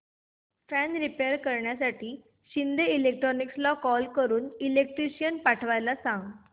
fan repair करण्यासाठी शिंदे इलेक्ट्रॉनिक्सला call करून इलेक्ट्रिशियन पाठवायला सांग